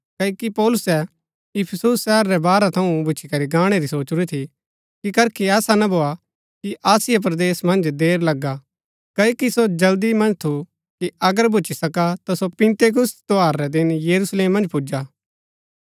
क्ओकि पौलुसै इफिसुस शहर रै बाहरा थऊँ भूच्ची करी गाणै री सोचुरी थी कि करखी ऐसा ना भोआ कि आसिया परदेस मन्ज देर लगा क्ओकि सो जल्दी मन्ज थु कि अगर भूच्ची सका ता सो पिन्तेकुस्त त्यौहार रै दिन यरूशलेम मन्ज पुजा